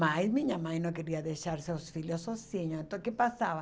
Mas minha mãe não queria deixar seus filhos sozinhos, então o que passava?